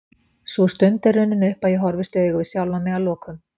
Sú stund er runnin upp að ég horfist í augu við sjálfan mig að lokum.